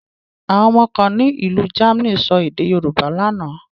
Àwọn ọmọ kan ní ìlú Germany sọ èdè Yorùbá lánàá.